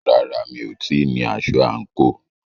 Rárá, mi ò tíì ní aṣọ àǹkóò.